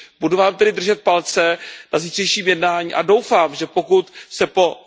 Budu vám tedy držet palce na zítřejším jednání a doufám, že pokud se po